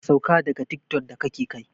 Ka sauka daga tiktok da kake kai!